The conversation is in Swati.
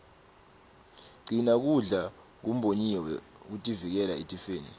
gcina kudla kumbonyiwe kutivikela etifeni